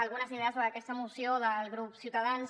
algunes idees sobre aquesta moció del grup ciutadans